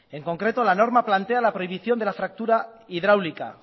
en concreto la norma plantea la prohibición la fractura hidráulica